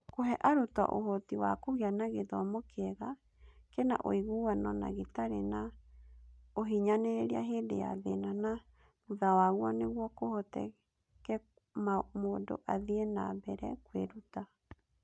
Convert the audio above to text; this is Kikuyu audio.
Kũhe arutwo ũhoti wa kũgĩa na gĩthomo kĩega, kĩna ũiguano na gĩtarĩ na ũhinyanĩrĩria hĩndĩ ya thĩna na thutha waguo nĩguo kũhoteke mũndũ athiĩ na mbere kwĩruta